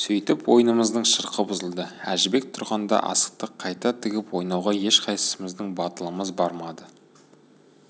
сөйтіп ойынымыздың шырқы бұзылды әжібек тұрғанда асықты қайта тігіп ойнауға ешқайсымыздың батылымыз бармады